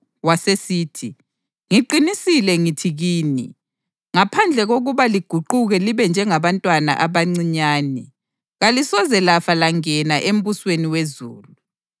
Wasesithi, “Ngiqinisile ngithi kini, ngaphandle kokuba liguquke libe njengabantwana abancinyane, kalisoze lafa langena embusweni wezulu.